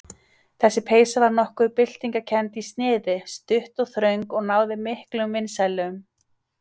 Þessi peysa var nokkuð byltingarkennd í sniði, stutt og þröng og náði miklum vinsældum.